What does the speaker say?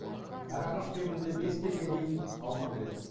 әр ағаш кемінде бес келіге дейін алма береді